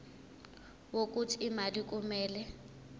wokuthi imali kumele